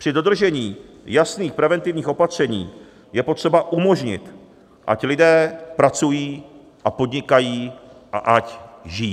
Při dodržení jasných preventivních opatření je potřeba umožnit, ať lidé pracují a podnikají a ať žijí.